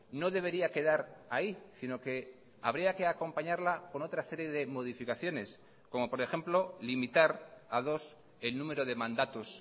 no debería quedar ahí sino que habría que acompañarla con otra serie de modificaciones como por ejemplo limitar a dos el número de mandatos